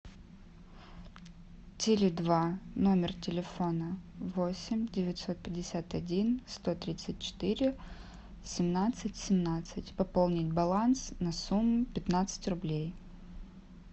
теле два номер телефона восемь девятьсот пятьдесят один сто тридцать четыре семнадцать семнадцать пополнить баланс на сумму пятнадцать рублей